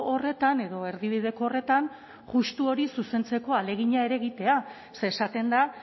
horretan edo erdibideko horretan justu hori zuzentzeko ahalegina ere egitea ze esaten da